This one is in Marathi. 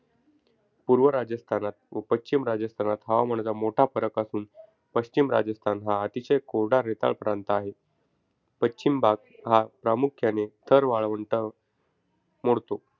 पूर्व राजस्थानात व पश्चिम राजस्थानात हवामानाचा मोठा फरक असून पश्चिम राजस्थान हा अतिशय कोरडा रेताळ प्रांत आहे. पश्चिम भाग हा प्रामुख्याने थर वाळवंट मोडतो.